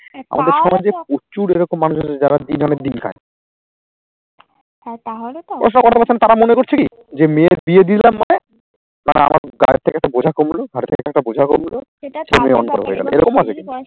আমাদের সমাজে প্রচুর এরকম মানুষ আছে যারা দিন আনে দিন খায়। ওইসব কথা বলছেন তাঁরা মনে করছেন কি যে মেয়ের বিয়ে দিয়ে দিলাম মানে তারা আমার গায়ের থেকে তো বোঝা কমলো, ঘার থেকে একটা বোঝা কমলো।